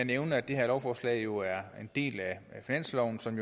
nævne at det her lovforslag jo er en del af finansloven som